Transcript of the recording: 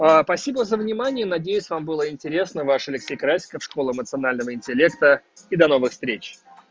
спасибо за внимание надеюсь вам было интересно ваш алексей красиков школа эмоционального интеллекта и до новых встреч